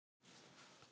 Hvíta deildin